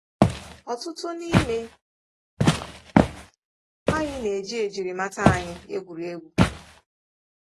Ọtụtụ n’ime anyị na-eji njirimata anyị egwuri egwu.